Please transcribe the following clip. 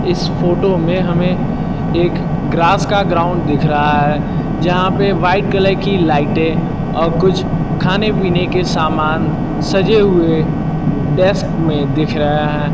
इस फोटो में हमें एक ग्रास का ग्राउंड दिख रहा है जहां पे व्हाइट कलर की लाइटें और कुछ खाने पीने के समान सजे हुए डेस्क में दिख रहा है।